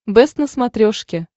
бэст на смотрешке